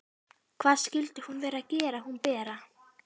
Hvað skyldi hún vera að gera hún Bera?